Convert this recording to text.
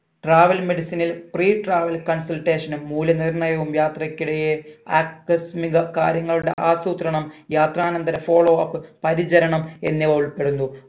travel medicine ഇൽ pre travel consultation നും മൂല്യ നിർണയവും യാത്രക്കിടെയെ ആകസ്മിക കാര്യങ്ങളുടെ ആസൂത്രണം യാത്രാനന്തര follow up പരിചരണം എന്നിവ ഉൾപ്പെടുന്നു